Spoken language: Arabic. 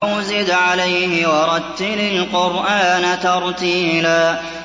أَوْ زِدْ عَلَيْهِ وَرَتِّلِ الْقُرْآنَ تَرْتِيلًا